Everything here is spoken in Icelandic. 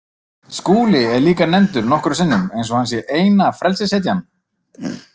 Skúli er líka nefndur nokkrum sinnum, eins og hann sé eina frelsishetjan.